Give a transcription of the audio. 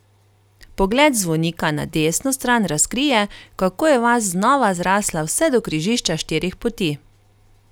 Pogled z zvonika na desno stran razkrije, kako je vas znova zrasla vse do križišča štirih poti.